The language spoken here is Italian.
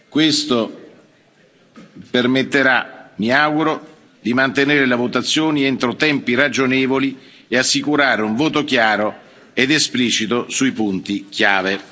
Questo permetterà, mi auguro, di mantenere le votazioni entro tempi ragionevoli e assicurare un voto chiaro ed esplicito sui punti chiave.